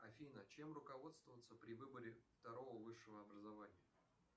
афина чем руководствоваться при выборе второго высшего образования